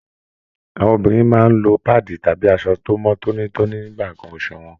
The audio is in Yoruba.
Àwọn obìnrin máa n lọ paadi tàbí aṣọ tó mọ tónítóní nígbà nkán oṣù wọn.